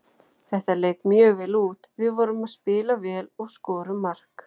Þetta leit mjög vel út, við vorum að spila vel og skorum mark.